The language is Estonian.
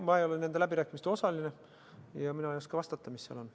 Ma ei ole nende läbirääkimiste osaline ja mina ei oska vastata, mis seal on.